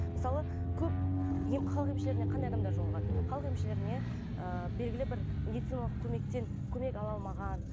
мысалы көп халық емшілеріне қандай адамдар жолығады халық емшілеріне ыыы белгілі бер медициналық көмектен көмек ала алмаған